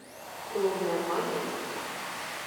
клубная мания